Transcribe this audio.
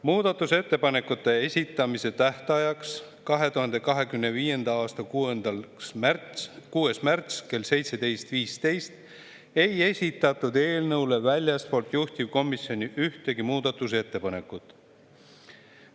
Muudatusettepanekute esitamise tähtajaks, 2025. aasta 6. märtsil kella 17.15‑ks, ei esitatud eelnõu kohta väljastpoolt juhtivkomisjoni ühtegi muudatusettepanekut.